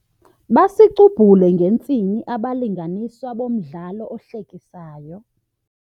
Basicubhule ngentsini abalinganiswa bomdlalo ohlekisayo.